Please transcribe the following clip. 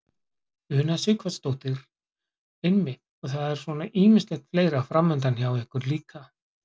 Una Sighvatsdóttir: Einmitt og það er svona ýmislegt fleira framundan hjá ykkur líka?